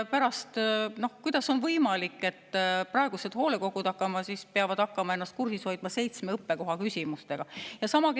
Aga kuidas on võimalik, et pärast peavad praegused hoolekogud hakkama ennast kursis hoidma seitsme õppekoha küsimustega?